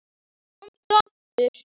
Komdu aftur.